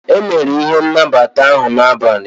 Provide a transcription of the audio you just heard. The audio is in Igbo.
a mere ihe n' nabata ahụ n'abalị